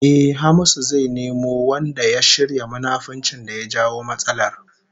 Ehh, Hamisu zai nemo wanda ya shirya munafuncin da ya jawo matsalar